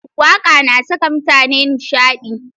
Waƙa na saka mutane nishaɗi.